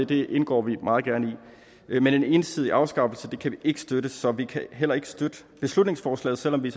det indgår vi meget gerne i men en ensidig afskaffelse kan vi ikke støtte så vi kan heller ikke støtte beslutningsforslaget selv om vi